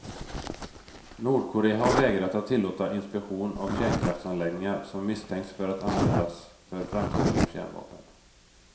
Nordkorea har vägrat att tillåta inspektion av kärnkraftsanläggningar som misstänks för att användas för framställning av kärnvapen.